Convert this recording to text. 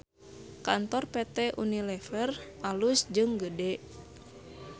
Kantor PT UNILEVER alus jeung gede